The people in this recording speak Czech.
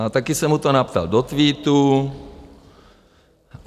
A také jsem mu to napsal do Twitteru.